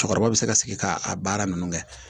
Cɛkɔrɔba bɛ se ka sigi ka a baara ninnu kɛ